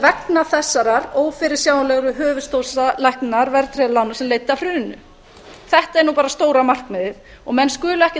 vegna þessarar ófyrirsjáanlegu höfuðstóls ækkunar verðtryggðra lána sem leiddi af hruninu þetta er nú bara stóra markmiðið og menn skulu ekkert